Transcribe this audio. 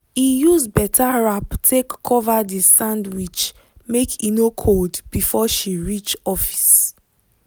e use better wrap take cover the sandwich make e no cold before she reach office.